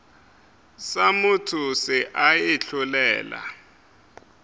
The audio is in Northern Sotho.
sa motho se a itlholela